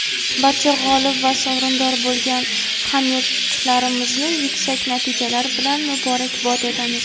Barcha g‘olib va sovrindor bo‘lgan hamyurtlarimizni yuksak natijalar bilan muborakbod etamiz.